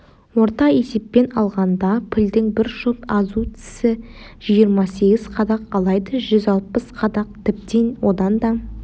орта есеппен алғанда пілдің бір жұп азу тісі жиырма сегіз қадақ алайда жүз алпыс қадақ тіптен одан да